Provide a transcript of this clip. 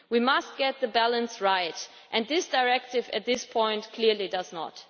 We must get the balance right, and this directive at this point clearly does not.